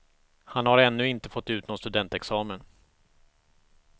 Han har ännu inte fått ut någon studentexamen.